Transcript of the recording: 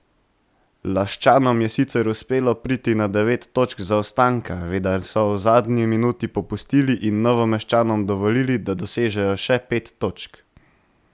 Laščanom je sicer uspelo priti na devet točk zaostanka, vendar so v zadnji minuti popustili in Novomeščanom dovolili, da dosežejo še pet točk.